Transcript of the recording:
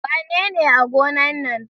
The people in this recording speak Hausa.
Wanene a gona nan?